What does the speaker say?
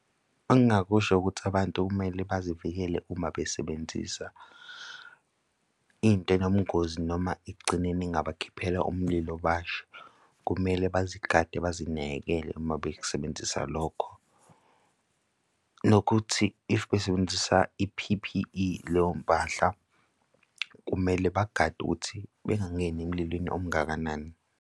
Engingakusho ukuthi abantu kumele bazivikele uma besebenzisa into enobungozi noma ekugcineni, engabakhiphela umlilo bashe. Kumele bezigade, bazinakekele, uma bekusebenzisa lokho. Nokuthi if besebenzisa i-P_P_E kuleyo mpahla kumele bagade ukuthi bangangeni emlilweni omngakanani.